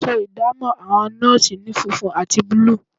Aṣọ ìdámọ̀ àwọn nọ́ọ̀sì ni funfun àti búlúù